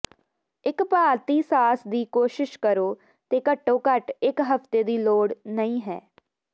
ਇੱਕ ਭਾਰਤੀ ਸਾਸ ਦੀ ਕੋਸ਼ਿਸ਼ ਕਰੋ ਤੇ ਘੱਟੋ ਘੱਟ ਇੱਕ ਹਫ਼ਤੇ ਦੀ ਲੋੜ ਨਹੀ ਹੈ